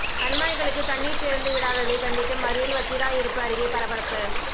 கண்மாய்களுக்கு தண்ணீர் திறந்து விடாததை கண்டித்து மறியல் வத்திராயிருப்பு அருகே பரபரப்பு